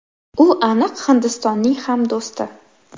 U aniq Hindistonning ham do‘sti”.